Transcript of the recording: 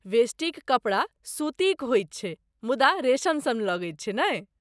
वेष्टीक कपड़ा सूतीक होइत छै मुदा रेशम सन लगैत छै, नहि?